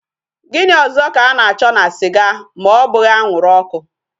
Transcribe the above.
Gini ozo ka a na cho na siga ma obughi anwuru oku?